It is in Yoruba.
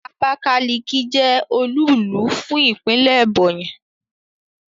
Abakaliki je olúùlú fún Ìpínlẹ̀ Ebonyi